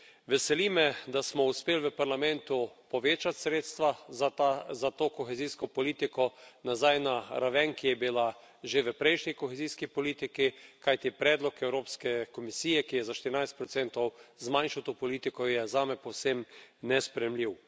Veseli me, da smo uspeli v Parlamentu povečati sredstva za to kohezijsko politiko nazaj na raven, ki je bila že v prejšnji kohezijski politiki, kajti predlog Evropske komisije, ki je za 14 zmanjšal to politiko, je zame povsem nesprejemljiv.